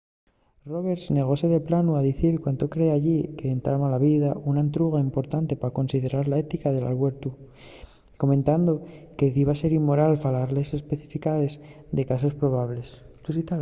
roberts negóse de planu a dicir cuándo cree elli qu’entama la vida una entruga importante pa considerar la ética del albuertu comentando que diba ser inmoral falar de les especificidaes de casos probables